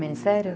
Ministério?